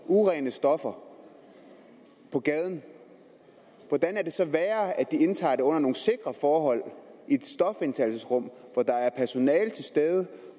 urene stoffer på gaden hvordan kan det så blive værre af at de indtager det under nogle sikre forhold i et stofindtagelsesrum hvor der er personale til stede og